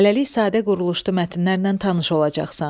Hələlik sadə quruluşlu mətnlərlə tanış olacaqsan.